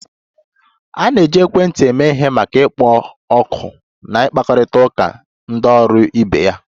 A na-eji ekwentị eme ihe maka ịkpọ oku na ịkparịta ụka na ndị ọrụ ibe ya